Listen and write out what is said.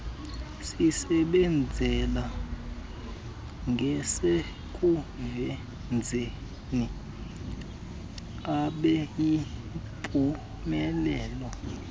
sisebenzele ngasekuwenzeni abeyimpumelelo